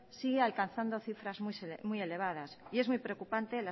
sigue alcanzando cifras muy elevadas y es muy preocupante